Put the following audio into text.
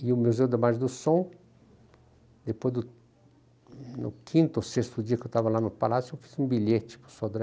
E o Museu da Magem do Som, depois do no quinto ou sexto dia que eu estava lá no Palácio, eu fiz um bilhete para o Sodré.